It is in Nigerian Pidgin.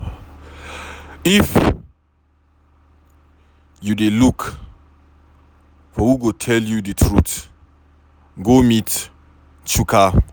If you dey look for who go tell you the truth go meet Chuka.